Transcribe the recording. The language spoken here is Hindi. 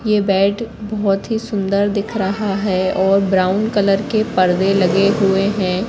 यह बेड बहुत ही सुंदर दिख रहा है और ब्राउन कलर के पर्दे लगे हुए हैं।